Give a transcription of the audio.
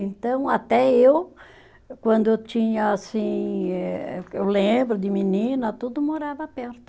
Então, até eu, quando eu tinha, assim, eh eu lembro de menina, tudo morava perto.